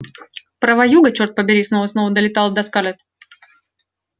права юга черт побери снова и снова долетало до скарлетт